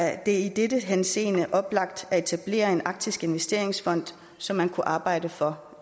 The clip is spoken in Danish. er i denne henseende oplagt at etablere en arktisk investeringsfond som man kunne arbejde for